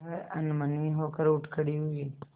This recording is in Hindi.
वह अनमनी होकर उठ खड़ी हुई